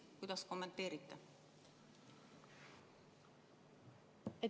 Kuidas te kommenteerite?